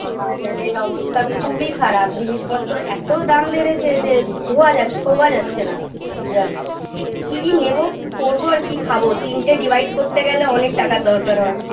বাজারের অবস্থা খুবই খারাপ জিনিসপত্র এত দাম বেড়েছে যে ধোয়া জা ছোঁয়া যাচ্ছে না just কি নেব কি করবো আর কি খাব তিনটে divide করতে গেলে অনেক টাকার দরকার হয়